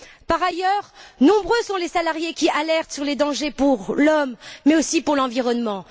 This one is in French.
Par ailleurs, nombreux sont les salariés qui alertent sur les dangers pour l'homme mais aussi pour l'environnement.